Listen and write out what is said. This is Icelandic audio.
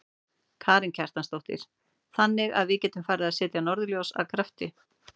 Karen Kjartansdóttir: Þannig að við getum farið að selja norðurljós af krafti?